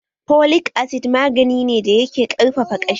Folic acid magani ne da yake ƙarfafa ƙashi